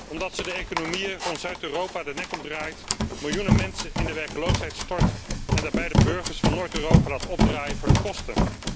Omdat ze de economieën van Zuid Europa de nek omdraait, miljoenen mensen in de werkloosheid stort en daarbij de burgers van Noord Europa laat opdraaien voor de kosten.